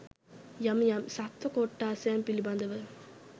යම් යම් සත්ව කොට්ඨාශයන් පිළිබඳව